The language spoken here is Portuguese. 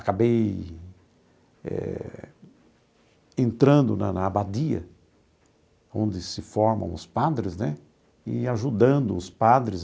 Acabei eh entrando na na abadia, onde se formam os padres né, e ajudando os padres